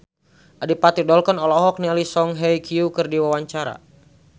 Adipati Dolken olohok ningali Song Hye Kyo keur diwawancara